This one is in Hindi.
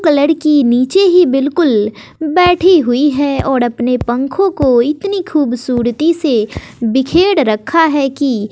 एक लड़की नीचे ही बिल्कुल बैठी हुई है और अपने पंखों को इतनी खूबसूरती से बिखेर रखा है कि--